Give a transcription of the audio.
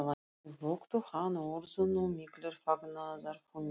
Þau vöktu hann og urðu nú miklir fagnaðarfundir.